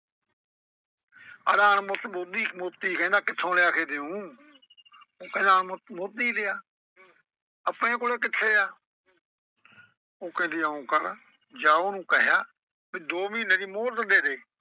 ਆਂਹਦਾ ਅਣ ਬੁੱਧ ਮੋਤੀ ਕਹਿੰਦਾ ਮੋਤੀ ਕਿੱਥੋਂ ਲਿਆ ਕੇ ਦੇਊਂ ਉਹ ਕਹਿੰਦਾ ਅਣਮੁੱਲ ਮੋਤੀ ਲਿਆ। ਆਪਣੇ ਕੋਲ ਕਿੱਥੇ ਆ ਉਹ ਕਹਿੰਦੀ ਇਉਂ ਕਰ ਜਾ ਉਹਨੂੰ ਕਹਿਆ ਵੀ ਦੋ ਮਹੀਨੇ ਦੀ ਮੁਹਲਤ ਦੇ ਦੇ।